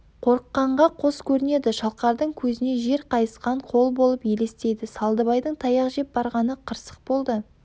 қорыққанға қос көрінеді шалқардың көзіне жер қайысқан қол болып елестейді салдыбайдың таяқ жеп барғаны қырсық болды